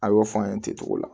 A y'o fɔ an ye ten cogo la